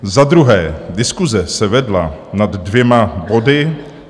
Za druhé, diskuse se vedla nad dvěma body.